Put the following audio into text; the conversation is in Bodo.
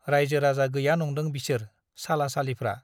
राइजो राजा गैया नंदों बिसोर साला सालिफ्रा ।